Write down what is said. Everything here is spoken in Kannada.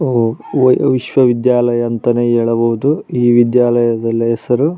ಒಹ್ ವಿಶ್ವ ವಿದ್ಯಾಲಯ ಅಂಥನೇ ಹೇಳಬಹುದು ಈ ವಿದ್ಯಾಲಯದ ಹೆಸರು.